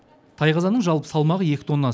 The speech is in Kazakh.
тайқазанның жалпы салмағы екі тонна